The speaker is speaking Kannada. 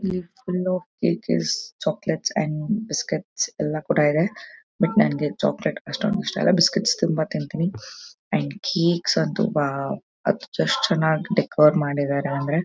ಇಲ್ಲಿ full cake is chocolates and biscuits ಎಲ್ಲಾ ಕೂಡ ಇದೆ ಬಟ್ ನಂಗೆ ಚಾಕ್ಲೆಟ್ ಅಷ್ಟೊಂದ್ ಇಷ್ಟ ಇಲ್ಲ ಬಿಸ್ಕೆಟ್ಸ್ ತುಂಬಾ ತಿಂತೀನಿ ಆಂಡ್ ಕೇಕ್ಸ್ ಅಂತೂ ವಾವ್ ಅದ್ ಎಷ್ಟ್ ಚೆನ್ನಾಗ್ ಡೆಕೋ ರ್ ಮಾಡಿದ್ದಾರೆ ಅಂದ್ರೆ.